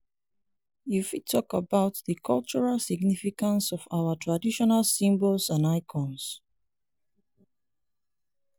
you fit talk about di cultural significance of our traditional symbols and icons?